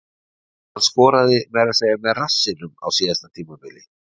Hann skoraði meira að segja með rassinum á síðasta tímabili.